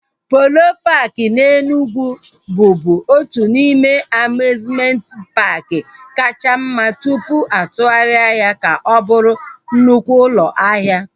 Polo paaki na Enugwu bụbu otu n'ime amiuzmenti paaki kachasị mma tụpụ atụgharịa ya ka ọ bụrụ nnukwu ụlọ ahịa